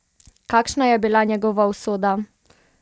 Kakšna je bila njegova usoda?